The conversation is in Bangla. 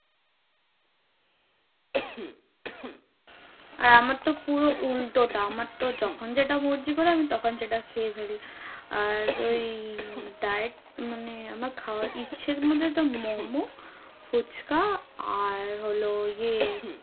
আর আমার পুরো উল্টোটা। আমার তো যখন যেটা মর্জি করে আমি তখন সেটা খেয়ে ফেলি। আর ওই উম diet মানে আমার খাওয়ার ইচ্ছে গুলো তো মোমো, ফুচকা আর হলো ইয়ে